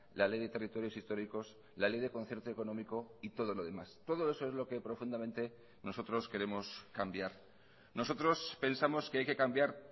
la ley de territorios históricos la ley de concierto económico y todo lo demás todo eso es lo que profundamente nosotros queremos cambiar nosotros pensamos que hay que cambiar